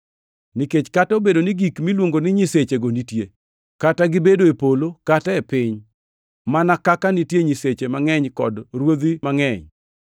Nikech kata bed ni gik miluongo ni nyisechego nitie, kata gibed e polo, kata e piny mana (kaka nitie “nyiseche” mangʼeny kod “ruodhi” mangʼeny),